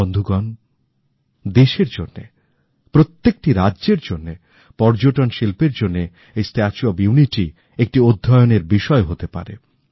বন্ধুগণ দেশের জন্যে প্রত্যেকটি রাজ্যের জন্যে পর্যটন শিল্পের জন্যে এই স্ট্যাচু অফ ইউনিটি একটি অধ্যয়নের বিষয় হতে পারে